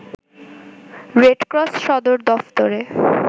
Red Cross সদর দফতরে